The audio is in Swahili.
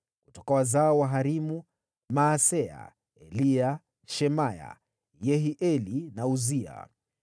Kutoka wazao wa Harimu: Maaseya, Eliya, Shemaya, Yehieli na Uzia.